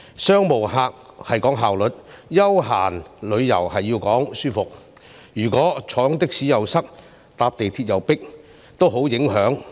商務旅客講求效率，休閒旅遊講求舒適，如果坐的士塞車，乘坐港鐵又擠迫，都會帶來很大影響。